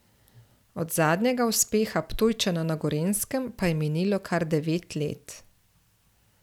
Od zadnjega uspeha Ptujčana na Gorenjskem pa je minilo kar devet let.